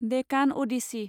Deccan Odissi